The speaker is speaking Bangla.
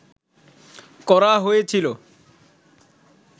করা হয়েছিল